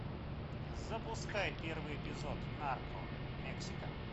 запускай первый эпизод нарко мексика